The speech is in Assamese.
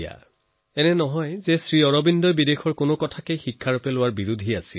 এনেকুৱাও নহয় যে শ্ৰী অৰবিন্দই বিদেশৰ পৰা কিবা শিকাৰ ক্ষেত্ৰতো কেতিয়াবা বিৰোধ কৰিছে